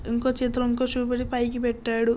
ఇంకో చేతిలో ఇంకా షూ ని పైకి పెట్టాడు.